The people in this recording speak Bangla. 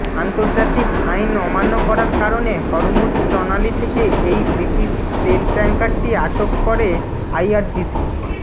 আন্তর্জাতিক আইন অমান্য করার কারণে হরমুজ প্রণালী থেকে এই ব্রিটিশ তেল ট্যাংকারটি আটক করে আইআরজিসি